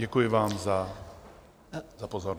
Děkuji vám za pozornost.